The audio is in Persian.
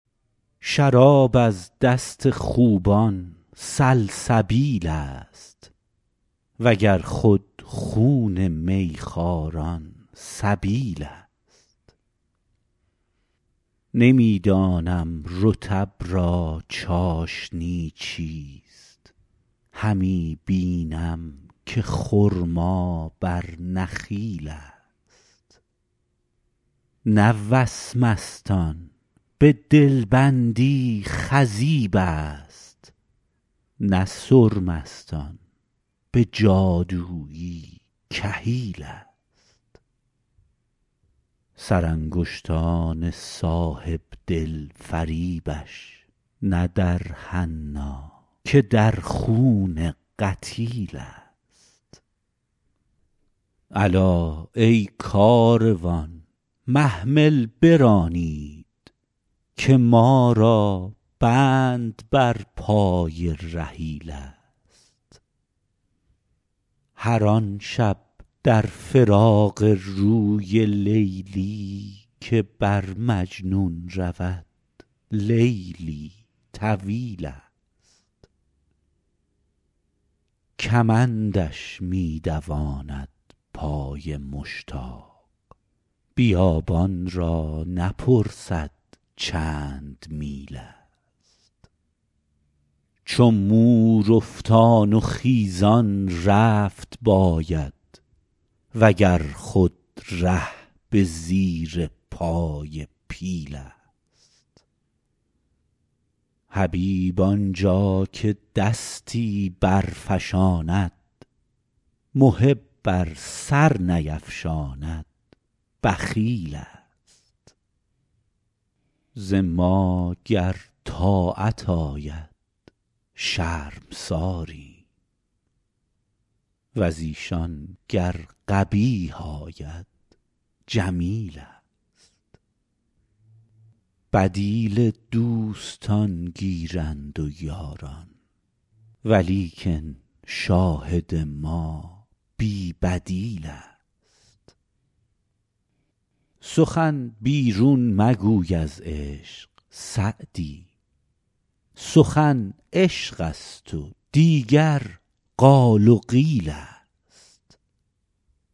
شراب از دست خوبان سلسبیل ست و گر خود خون می خواران سبیل ست نمی دانم رطب را چاشنی چیست همی بینم که خرما بر نخیل ست نه وسمست آن به دل بندی خضیب ست نه سرمست آن به جادویی کحیل ست سرانگشتان صاحب دل فریبش نه در حنا که در خون قتیل ست الا ای کاروان محمل برانید که ما را بند بر پای رحیل ست هر آن شب در فراق روی لیلی که بر مجنون رود لیلی طویل ست کمندش می دواند پای مشتاق بیابان را نپرسد چند میل ست چو مور افتان و خیزان رفت باید و گر خود ره به زیر پای پیل ست حبیب آن جا که دستی برفشاند محب ار سر نیفشاند بخیل ست ز ما گر طاعت آید شرمساریم و ز ایشان گر قبیح آید جمیل ست بدیل دوستان گیرند و یاران ولیکن شاهد ما بی بدیل ست سخن بیرون مگوی از عشق سعدی سخن عشق ست و دیگر قال و قیل ست